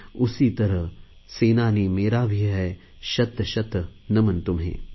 उसी तरह सेनानी मेरा भी है शतशत नमन तुम्हें